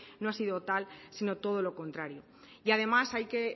no ha sido tal sino todo lo contrario y además hay que